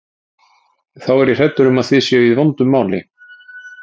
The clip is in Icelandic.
Þá er ég hræddur um að þið séuð í vondu máli.